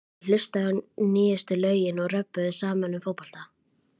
Þeir hlustuðu á nýjustu lögin og röbbuðu saman um fótbolta.